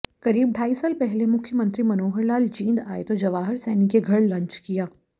करीब ढाई साल पहले मुख्यमंत्री मनोहरलाल जींद आए तो जवाहर सैनी के घर लंच किया